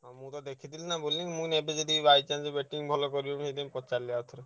ମୁଁ ତ ଦେଖିଥିଲି ନା bowling ମୁଁ କହିଲି ଏବେ ଯଦି by chance batting ଭଲ କରିବଣି ସେଇଥିପାଇଁ ପଚାରିଲି ଆଉଥରେ।